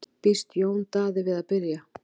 Býst Jón Daði við að byrja?